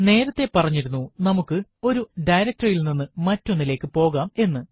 നേരത്തെ പറഞ്ഞിരുന്നു നമുക്ക് ഒരു directory യിൽ നിന്നും മറ്റൊന്നിലേക്കു പോകാം എന്ന്